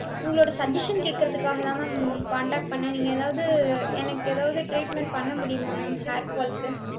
உங்களோட suggestion கேக்குறதுக்குதாகதான் ma'am உங்களுக்கு contact பன்னேன். நீங்க எதாவது எனக்கு எதாவது treatment பண்ண முடியுமா ma'am hair fall க்கு